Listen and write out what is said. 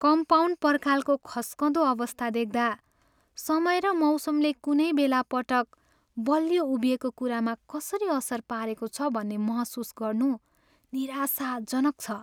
Compound पर्खालको खस्कँदो अवस्था देख्दा, समय र मौसमले कुनै बेला पटक बलियो उभिएको कुरामा कसरी असर पारेको छ भन्ने महसुस गर्नु निराशाजनक छ।